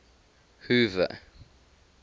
hoover